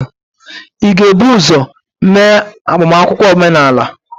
ị ga-ebu ụzọ mee agbamakwụkwọ omenala?